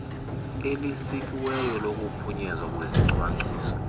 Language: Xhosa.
elisikiweyo lokuphunyezwa kwezicwangciso